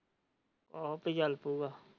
ਆਹੋ ਆਪੇ ਚੱਲ ਪਾਉ ਗਏ।